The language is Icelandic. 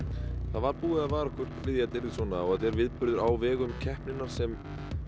það var búið að vara okkur við því að þetta yrði svona og þetta er viðburður á vegum keppninnar sem